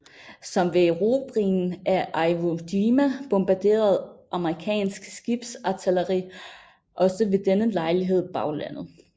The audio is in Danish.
Som ved erobringen af Iwo Jima bombarderede amerikansk skibsartilleri også ved denne lejlighed baglandet